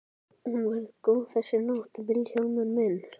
Hún verður góð þessi nótt Vilhjálmur minn.